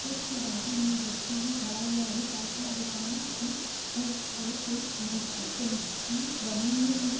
Road के बाजू मे एक व्यक्ति खड़ा हुआ है पास मे दुकान है और एक मस्जिद जैसी बनी हुई है।